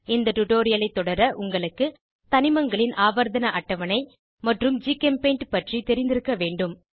இந்த டுடோரியலை தொடர உங்களுக்கு தனிமங்களின் ஆவர்த்தண அட்டவணை மற்றும் ஜிகெம்பெய்ண்ட் பற்றி தெரிந்திருக்க வேண்டும்